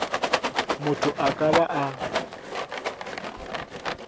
motho a ka ba a